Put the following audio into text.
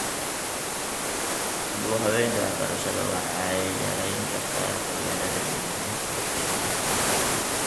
Dib u habaynta waxbarashada waxay yarayn kartaa qabyaaladda iyo nacaybka ka jira .